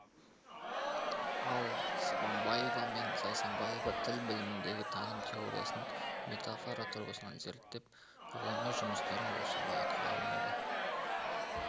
ал сыбанбаева мен зайсанбаева тіл біліміндегі таным теориясын метафора тұрғысынан зерттеп ғылыми жұмыстарын осы бағытқа арнайды